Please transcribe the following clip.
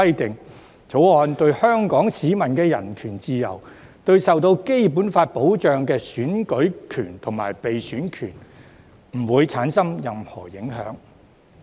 《條例草案》對於香港市民的人權自由，以及對於受《基本法》保障的選舉權和被選舉權，均不會構成任何影響。